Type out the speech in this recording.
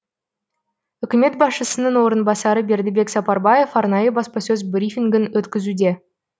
үкімет басшысының орынбасары бердібек сапарбаев арнайы баспасөз брифингін өткізуде